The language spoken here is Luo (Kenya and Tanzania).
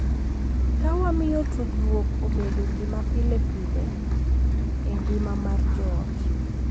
Ka wamiyo tudruok obedo gima pile pile e ngima mar joot,